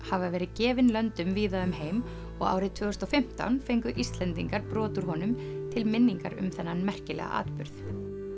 hafa verið gefin löndum víða um heim og árið tvö þúsund og fimmtán fengu Íslendingar brot úr honum til minningar um þennan merkilega atburð